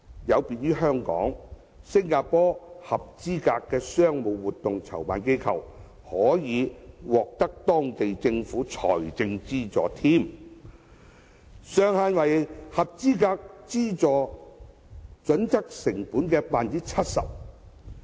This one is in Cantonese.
有別於香港，新加坡合資格的商務活動籌辦機構，可獲當地政府財政資助，上限為符合資助準則成本的 70%。